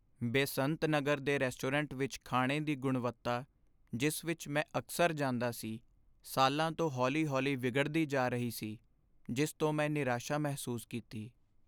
ਬੇਸੰਤ ਨਗਰ ਦੇ ਰੈਸਟੋਰੈਂਟ ਵਿਚ ਖਾਣੇ ਦੀ ਗੁਣਵੱਤਾ, ਜਿਸ ਵਿਚ ਮੈਂ ਅਕਸਰ ਜਾਂਦਾ ਸੀ, ਸਾਲਾਂ ਤੋਂ ਹੌਲੀ ਹੌਲੀ ਵਿਗੜਦੀ ਜਾ ਰਹੀ ਸੀ, ਜਿਸ ਤੋਂ ਮੈਂ ਨਿਰਾਸ਼ਾ ਮਹਿਸੂਸ ਕੀਤੀ